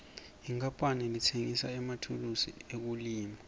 inkapani letsengisa emathulusi ekulima